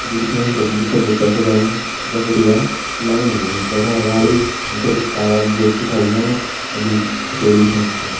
जु दिखेण से लगदु दूसरा भितर छ जायुं जख बिटि वैन लाइन लीनी वे का अगाड़ी हम तें एक तार वालू ब्रुश भी छा दिखेणु अर दुई हथोड़ी भी छन दिखेणी।